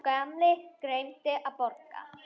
Sá gamli gleymdi að borga.